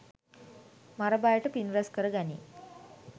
මර බයට පින් රැස් කරගැනී